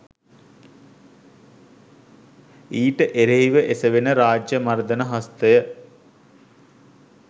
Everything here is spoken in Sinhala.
ඊට එරෙහිව එසෙවෙන රාජ්‍ය මර්ධන හස්තය